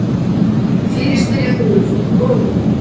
Fyrirspyrjandi hefur fengið góða hugmynd.